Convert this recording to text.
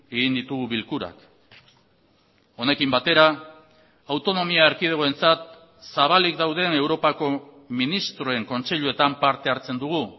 egin ditugu bilkurak honekin batera autonomia erkidegoentzat zabalik dauden europako ministroen kontseiluetan parte hartzen dugu